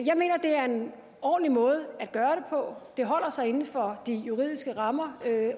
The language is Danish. jeg mener det er en ordentlig måde at gøre det og det holder sig inden for de juridiske rammer